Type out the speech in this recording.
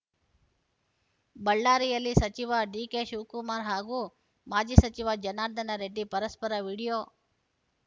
ಬಳ್ಳಾರಿಯಲ್ಲಿ ಸಚಿವ ಡಿಕೆಶಿವಕುಮಾರ್‌ ಹಾಗೂ ಮಾಜಿ ಸಚಿವ ಜನಾರ್ದನ ರೆಡ್ಡಿ ಪರಸ್ಪರ ವೀಡಿಯೋ